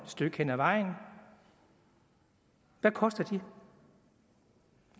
stykke hen ad vejen hvad koster de